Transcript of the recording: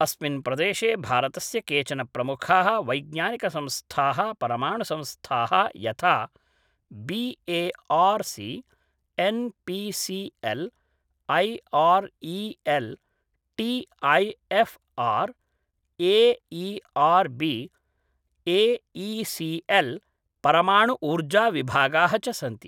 अस्मिन् प्रदेशे भारतस्य केचन प्रमुखाः वैज्ञानिकसंस्थाः परमाणुसंस्थाः यथा B A R C, N P C L, I R E L, T I F R, A E R B, A E C L, परमाणु ऊर्जाविभागः च सन्ति